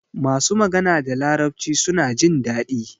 masu magana da larabci suna jindadi